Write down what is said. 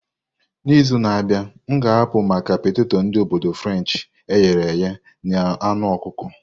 N'izu na-abịa, m ga-apụ maka peteto ndi obodu Frenshi eghere eghe na anu ọkụkọ.